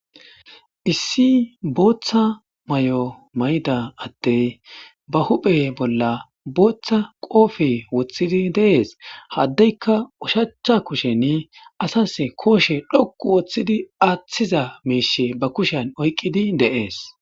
Issi bootha mayo mayida adde ba huuphe bolla bootha qophe wothidi de'es ha adeka ushacha kusheni asasi kooshe l'oqu oothidi aathiza miisha ba kushen oyqidi de'es.